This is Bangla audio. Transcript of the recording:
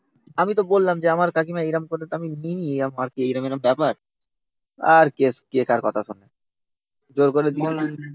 আমি তো বললাম যে আমার কাকিমা এরম করে তো নিইনি এরম এরম ব্যাপার। আর কে কার কথা শোনে